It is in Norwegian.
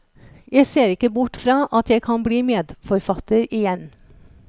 Jeg ser ikke bort fra at jeg kan blir medforfatter igjen.